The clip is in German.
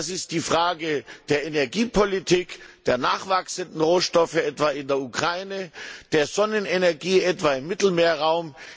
Das ist die Frage der Energiepolitik, der nachwachsenden Rohstoffe, etwa in der Ukraine, der Sonnenenergie, etwa im Mittelmeerraum.